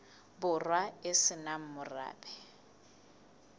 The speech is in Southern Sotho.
borwa e se nang morabe